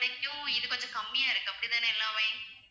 இது வந்து கம்மியா இருக்கு அப்படி தானே எல்லாமே